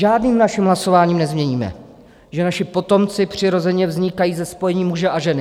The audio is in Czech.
Žádným naším hlasováním nezměníme, že naši potomci přirozeně vznikají ze spojení muže a ženy.